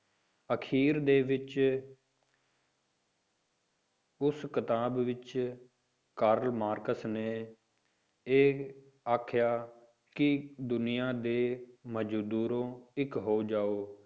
ਅਖ਼ੀਰ ਦੇ ਵਿੱਚ ਉਸ ਕਿਤਾਬ ਵਿੱਚ ਕਾਰਲ ਮਾਰਕਸ ਨੇ ਇਹ ਆਖਿਆ ਕਿ ਦੁਨੀਆਂ ਦੇ ਮਜ਼ਦੂਰੋਂ ਇੱਕ ਹੋ ਜਾਓ,